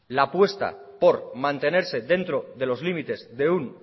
la apuesta por mantenerse dentro de los límites de un